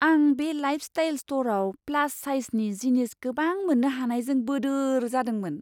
आं बे लाइफस्टाइल स्ट'रआव प्लास साइजनि जिनिस गोबां मोननो हानायजों बोदोर जादोंमोन!